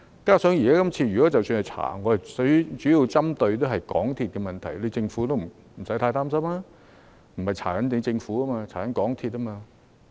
其實，這次即使本會進行調查，我們主要針對的是港鐵公司的問題，政府不用太擔心，因為不是調查政府，而是調查港鐵公司。